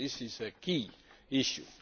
This is a key issue.